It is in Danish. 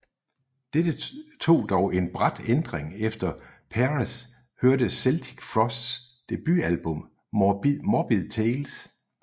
Dette tog dog en brat ændring efter Peres hørte Celtic Frosts debutalbum Morbid Tales